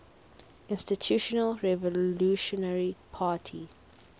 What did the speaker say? institutional revolutionary party